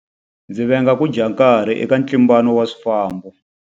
Ndzi venga ku dya nkarhi eka ntlimbano wa swifambo.